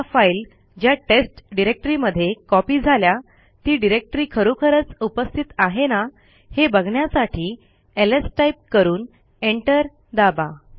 आता फाईल ज्या टेस्ट डिरेक्टरीमध्ये कॉपी झाल्या ती डिरेक्टरी खरोखरच उपस्थित आहे ना हे बघण्यासाठी एलएस टाईप करून एंटर दाबा